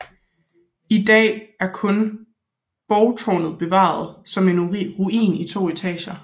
I dag er kun borgtårnet bevaret som en ruin i to etager